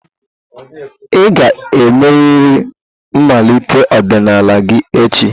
Ị ga-emerịrị mmalite ọdịnala gị echi!